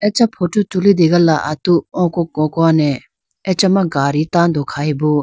Acha photo tulitegala atu oko kokone achama gadi tando khayibo.